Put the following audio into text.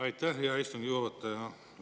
Aitäh, hea istungi juhataja!